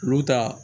Olu ta